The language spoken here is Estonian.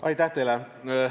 Aitäh teile!